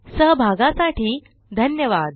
सहभागासाठी धन्यवाद